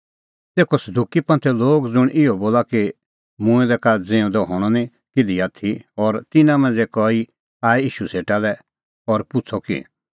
तेखअ सदुकी ज़ुंण इहअ बोला कि मूंऐं दै का ज़िऊंदअ हणअ निं किधी आथी और तिन्नां मांझ़ै कई आऐ ईशू सेटा लै और पुछ़अ कि